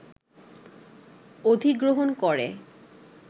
অধিগ্রহণ করে